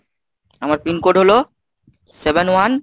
আমার PIN code হল Seven One